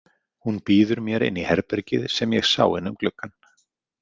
Hún býður mér inn í herbergið sem ég sá inn um gluggann.